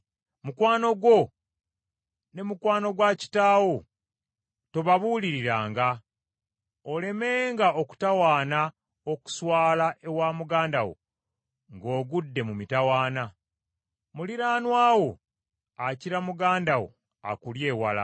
Mukwano gwo ne mukwano gwa kitaawo tobaabuuliranga, olemenga okutawaana okuswala ewa muganda wo ng’ogudde mu mitawaana. Muliraanwa wo akira muganda wo akuli ewala.